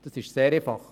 Das ist sehr einfach.